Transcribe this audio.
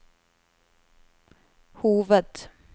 hoved